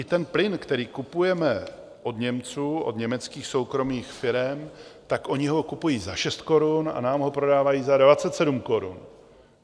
I ten plyn, který kupujeme od Němců, od německých soukromých firem, tak oni ho kupují za 6 korun a nám ho prodávají za 27 korun.